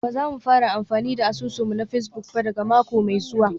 Ba za mu fara amfani da asusun mu na Facebook ba daga mako mai zuwa